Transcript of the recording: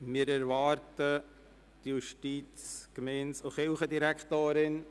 Wir erwarten nun die Justiz-, Gemeinde- und Kirchendirektorin.